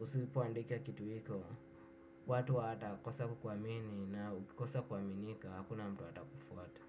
usipo andika kitu iko watu watakosa kukuamini na ukikosa kuaminika hakuna mtu atakufuata.